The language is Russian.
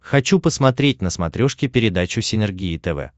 хочу посмотреть на смотрешке передачу синергия тв